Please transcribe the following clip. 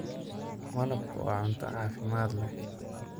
Malabku waa cunto caafimaad leh.